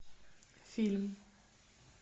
фильм